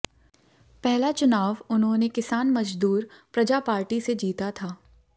पहला चुनाव उन्होंने किसान मजदूर प्रजा पार्टी से जीता था